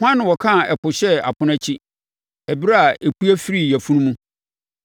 “Hwan na ɔkaa ɛpo hyɛɛ apono akyi, ɛberɛ a ɛpue firii yafunu mu,